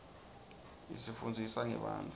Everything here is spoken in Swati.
isifunndzisa ngebantfu